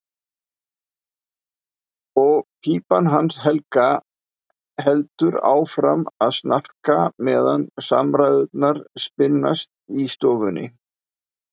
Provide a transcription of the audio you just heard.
Og pípan hans Helga heldur áfram að snarka meðan samræðurnar spinnast í stofunni.